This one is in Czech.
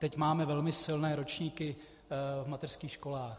Teď máme velmi silné ročníky v mateřských školách.